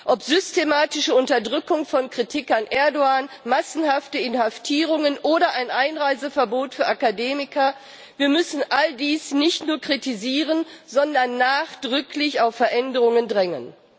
Ob systematische Unterdrückung von Kritik an Erdoğan, massenhafte Inhaftierungen oder ein Einreiseverbot für Akademiker wir müssen all dies nicht nur kritisieren, sondern nachdrücklich auf Veränderungen drängen.